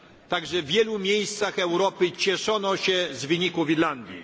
Tak, że w wielu miejscach Europy cieszono się z wyniku w Irlandii.